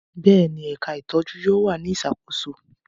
Bẹ́ẹ̀ni, ẹka itọju yóò wa ni isakoso